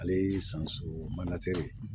Ale ye san surun manatiri